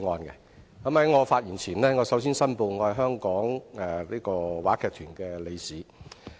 在我發言前，我首先申報我是香港話劇團理事。